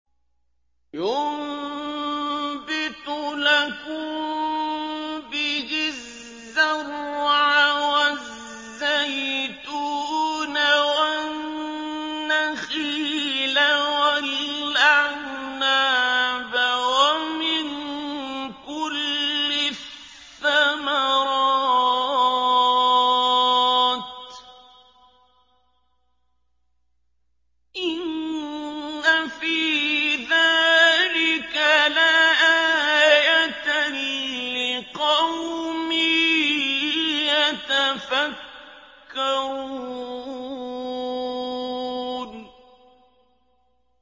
يُنبِتُ لَكُم بِهِ الزَّرْعَ وَالزَّيْتُونَ وَالنَّخِيلَ وَالْأَعْنَابَ وَمِن كُلِّ الثَّمَرَاتِ ۗ إِنَّ فِي ذَٰلِكَ لَآيَةً لِّقَوْمٍ يَتَفَكَّرُونَ